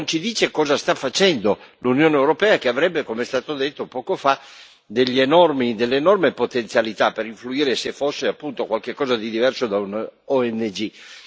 e soprattutto non ci dice cosa sta facendo l'Unione europea che avrebbe, come è stato detto poco fa, delle enormi potenzialità per influire, se fosse qualcosa di diverso